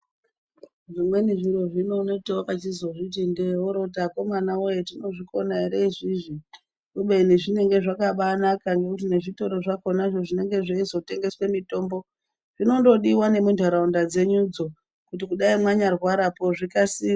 Zvimweni zviro zvino unotiwakazviti ndee ,oroti akomanawoye tinozvikona ere izvizvi kubeni zvinenge zvakabanaka, ngekuti nezvitoro zvakonazvo zvinenge zveizotengese mitombo zvinondodiwa nemunharaunda dzenyudzo kuti dai manyarwarapo zvikasire .